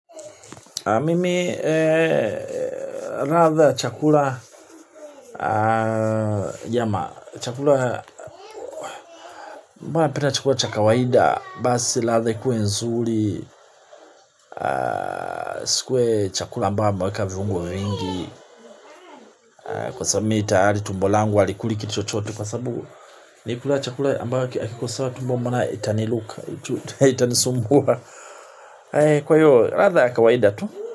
Mimi ladha ya chakula ya chakula Mbana pina chakula cha kawaida basi latha ikuwe nzuri isikwe chakula ambayo amweka viungo vingi. Kwa sabi mii itaari tumbo langu walikuli kiti chochote kwa sabu. Nikulaa chakula ambayo akikosawa tumbo mbana itaniluka itanisumbua. Kwa hiyo latha kawaida tu.